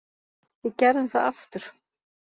Við gerðum það aftur.